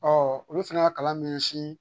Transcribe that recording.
olu fana y'a kalan min